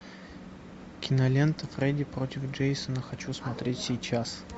кинолента фредди против джейсона хочу смотреть сейчас